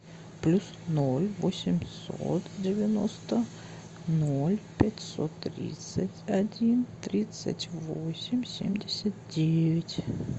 плюс ноль восемьсот девяносто ноль пятьсот тридцать один тридцать восемь семьдесят девять